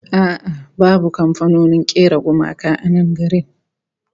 A'a babu kamfanonin kera gumaka a nan garin